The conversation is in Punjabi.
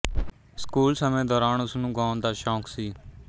ਸਕੂਲ ਸਮੇਂ ਦੌਰਾਨ ਉਸ ਨੂੰ ਗਾਉਣ ਦਾ ਸ਼ੌਕ ਸੀ